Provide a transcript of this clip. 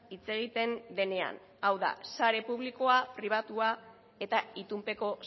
hitz egiten denean hau da sare publikoa sare pribatua eta itunpeko